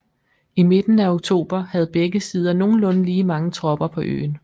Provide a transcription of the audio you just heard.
I midten af oktober havde begge sider nogenlunde lige mange tropper på øen